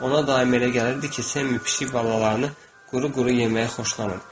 Ona daim elə gəlirdi ki, Sammy pişik balalarını quru-quru yeməyi xoşlanır.